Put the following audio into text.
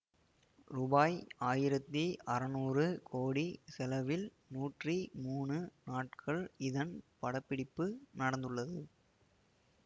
ரூபாய் ஆயிரத்தி அறநூறு கோடி செலவில் நூற்றி மூனு நாட்கள் இதன் படப்பிடிப்பு நடந்துள்ளது